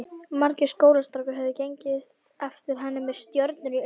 Margir skólastrákar höfðu gengið eftir henni með stjörnur í augum.